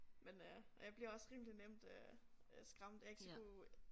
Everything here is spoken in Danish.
Men øh og jeg bliver også rimelig nemt øh øh skræmt jeg ikke så god